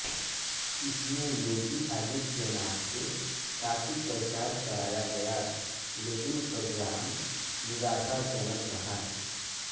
इसमें योगी आदित्यनाथ से काफी प्रचार कराया गया लेकिन परिणाम निराशाजनक रहा